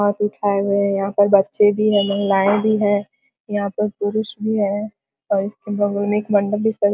हाथ उठाये हुए हैं यहाँ पर बच्चे भी हैं महिलाएं भी हैं यहाँ पर पुरुष भी हैं और इसके बगल में एक मंडप भी सजा --